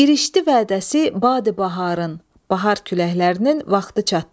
İrişdi vədəsi Badi Baharın, bahar küləklərinin vaxtı çatdı.